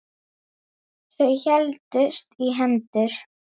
Alla vega sjö.